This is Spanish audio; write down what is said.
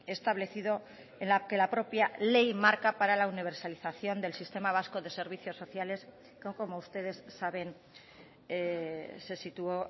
establecido en la que la propia ley marca para la universalización del sistema vasco de servicios sociales como ustedes saben se situó